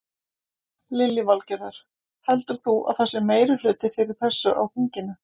Lillý Valgerður: Heldur þú að það sé meirihluti fyrir þessu á þinginu?